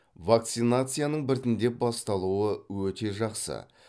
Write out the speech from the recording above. вакцинацияның біртіндеп басталуы өте жақсы